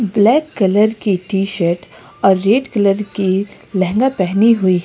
black colour की T shirt और red colour की लहंगा पहनी हुई--